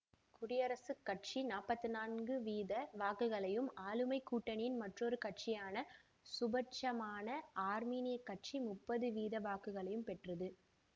குடியரசுக் கட்சி நாற்பத்தி நான்கு வீத வாக்குகளையும் ஆளும் கூட்டணியின் மற்றொரு கட்சியான சுபிட்சமான ஆர்மீனியக் கட்சி முப்பது வீத வாக்குகளையும் பெற்றது